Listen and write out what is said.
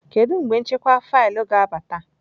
Kedu mgbe nchekwa faịlụ ga-abata?